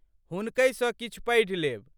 हुनकहि सँ किछ पढ़ि लेब।